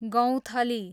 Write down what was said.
गौँथली